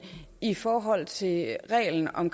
i forhold til reglen om